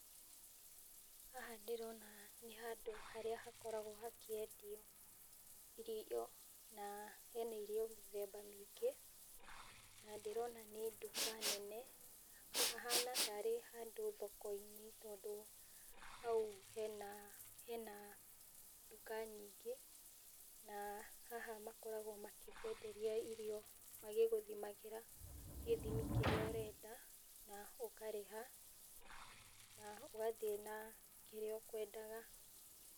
Haha ndĩrona nĩhandũ harĩa hakoragwo hakĩendio irio na nĩndĩrona hena irio míthemba mĩĩngi, na nĩ ndĩrona nĩnduka nene hahana tarĩ handũ thokoinĩ tondũ hau hena duka nyingĩ, na haha makoragwo makihenderia irio makĩguthimagĩra gĩthimi kĩrĩa ũrenda na ũkarĩha, na ũgathie na kĩrĩa ukwendaga.